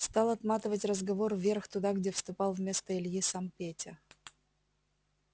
стал отматывать разговор вверх туда где вступал вместо ильи сам петя